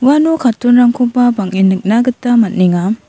uano carton-rangkoba bang·en nikna gita man·enga.